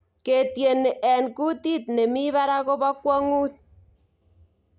ketieni eng kutit nemi park ko pokwangut